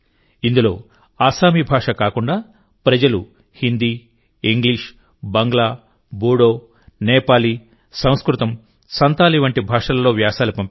ఇందులోఅస్సామీ భాష కాకుండాప్రజలు హిందీ ఇంగ్లీష్ బంగ్లా బోడో నేపాలీ సంస్కృతం సంతాలి వంటి భాషలలో వ్యాసాలు పంపారు